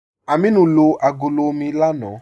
Ámínù lo agọ̀lọ̀ omi lánà.